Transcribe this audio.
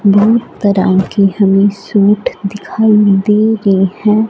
दो तरह के हमे सूट दिखाई दे रहे हैं।